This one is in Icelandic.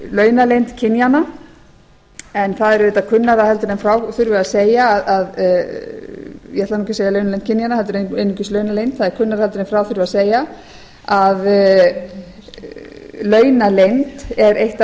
launaleynd kynjanna en það er auðvitað kunnara en frá þurfi að segja ég ætlaði ekki að segja launaleynd kynjanna heldur einungis launaleynd það er kunnara heldur en frá þurfi að segja að launaleynd er eitt af